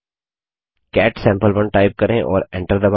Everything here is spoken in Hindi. कैट सम्पे1 टाइप करें और एंटर दबायें